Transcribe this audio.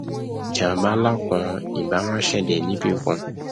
jàmbá nlá kan ì báà máa ṣẹlè níbìkan